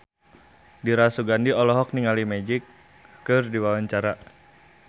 Dira Sugandi olohok ningali Magic keur diwawancara